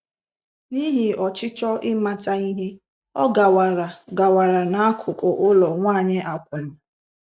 N'ihi ọchịchọ ịmata ihe, ọ gawara gawara n'akụkụ ụlọ nwanyị akwụna.